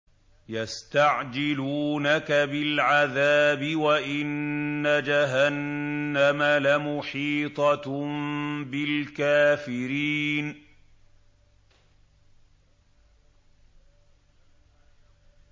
يَسْتَعْجِلُونَكَ بِالْعَذَابِ وَإِنَّ جَهَنَّمَ لَمُحِيطَةٌ بِالْكَافِرِينَ